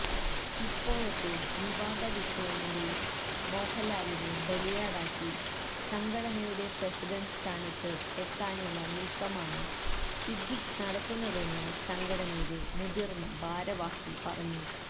ഇപ്പോഴത്തെ വിവാദവിഷയങ്ങളില് മോഹന്ലാലിനെ ബലിയാടാക്കി സംഘടനയുടെ പ്രസിഡന്റ് സ്ഥാനത്ത് എത്താനുള്ള നീക്കമാണ് സിദ്ദിഖ് നടത്തുന്നതെന്ന് സംഘടനയിലെ മുതിര്ന്ന ഭാരവാഹി പറഞ്ഞു